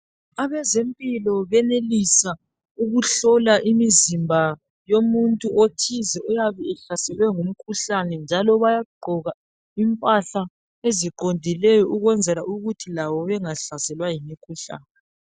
Abezempilo bayenelisa ukuhlola imizimba yalabo, abahlaselwe yimikhuhlane ethile. Bakwenza begqoje izigqoko, ezibavikelayo. Ukuthi labo, bengahlaselwa yileyomikhuhlane.